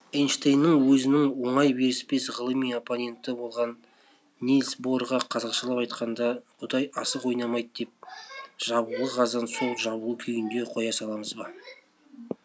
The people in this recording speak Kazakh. эйнштейннің өзінің оңай беріспес ғылыми оппоненті болған нильс борға қазақшалап айтқанда құдай асық ойнамайды деп жабулы қазан сол жабулы күйінде қоя саламыз ба